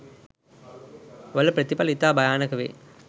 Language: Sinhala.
වල ප්‍රථිපල ඉතා භයානක වේ.